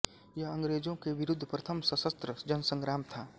यह अंग्रेजों के विरुद्ध प्रथम सशस्त्र जनसंग्राम था